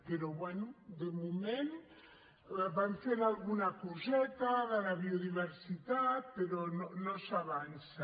però bé de moment van fent alguna coseta de la biodiversitat però no s’avança